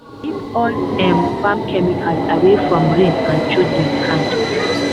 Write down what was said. keep all um farm chemical away from rain and children hand.